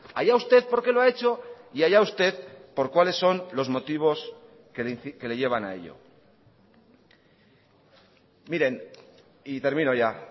allá usted por qué lo ha hecho y allá usted por cuáles son los motivos que le llevan a ello miren y termino ya